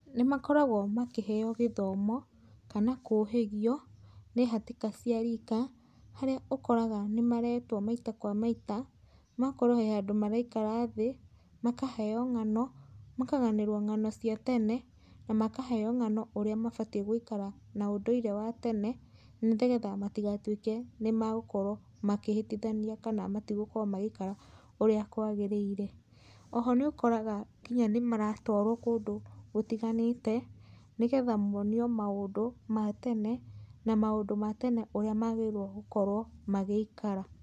Nĩmakoragwo makĩheo gĩthomo kana kũhĩgio nĩ hatĩka cia rika harĩa ũkoraga nĩmaretwo maita kwa maita okorwo he handũ maraikara thĩ makaheo ng'ano ,makaganĩrwo ng'ano cia tene na makaheo ng'ano atĩ gũikara na ũndũire wa tene nĩgetha matigatũĩke magũkorwo makĩhĩtĩthania kana matigũkorwo magĩikara ũrĩa kwagĩrĩire. Oho nĩũkoraga nginya nĩmaratwara kũndũ gũtiganĩte nĩgetha monio maũndũ ma tene na maũndũ ma tene ũrĩa magĩrĩirwo gũkorwo magĩikara.